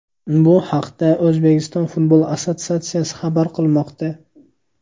Bu haqda O‘zbekiston futbol assotsiatsiyasi xabar qilmoqda .